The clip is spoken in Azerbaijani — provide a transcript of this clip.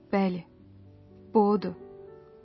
Bəli, bu odur.